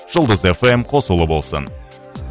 жұлдыз эф эм қосулы болсын